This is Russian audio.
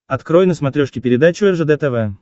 открой на смотрешке передачу ржд тв